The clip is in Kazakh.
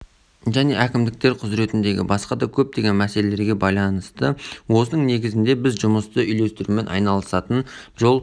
және әкімдіктер құзыретіндегі басқа да көптеген мәселелерге байланысты осының негізінде біз жұмысты үйлестірумен айналысатын жол